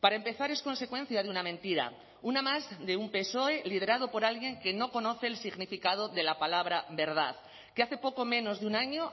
para empezar es consecuencia de una mentira una más de un psoe liderado por alguien que no conoce el significado de la palabra verdad que hace poco menos de un año